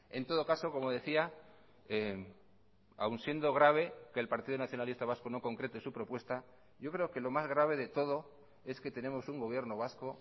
en todo caso como decía aun siendo grave que el partido nacionalista vasco no concrete su propuesta yo creo que lo más grave de todo es que tenemos un gobierno vasco